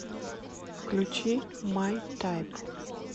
включи май тайп